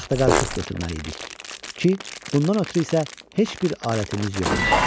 Taxta qarışıq götürməli idik ki, bundan ötrü isə heç bir alətimiz yox idi.